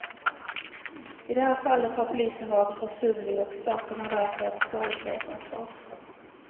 I det här fallet har polisen varit försumlig och staten har därför ett skadeståndsansvar.